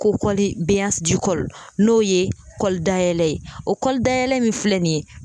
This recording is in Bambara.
n'o ye kɔli dayɛlɛ ye ,o kɔli dayɛlɛ min filɛ nin ye